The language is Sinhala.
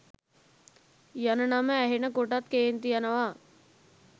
යන නම ඇහෙන කොටත් කේන්ති යනවා.